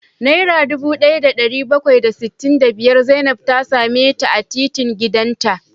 Naira dubu daya da dari bakwai da sittin da biyar Zainab ta same ta a titin gidanta